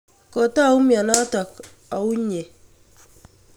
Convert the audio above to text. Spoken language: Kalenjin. Kotou mianotok auyo?